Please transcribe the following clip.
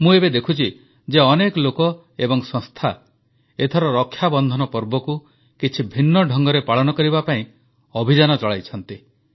ମୁଁ ଏବେ ଦେଖୁଛି ଯେ ଅନେକ ଲୋକ ଏବଂ ସଂସ୍ଥା ଏଥର ରକ୍ଷାବନ୍ଧନ ପର୍ବକୁ କିଛି ଭିନ୍ନ ଢଙ୍ଗରେ ପାଳନ କରିବା ପାଇଁ ଅଭିଯାନ ଚଳାଇଛନ୍ତି